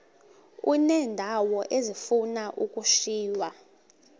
uneendawo ezifuna ukushiywa